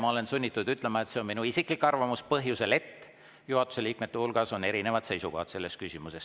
Ma olen sunnitud ütlema, et see on minu isiklik arvamus põhjusel, et juhatuse liikmete hulgas on selles küsimuses erinevad seisukohad.